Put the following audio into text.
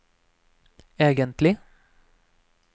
egentlig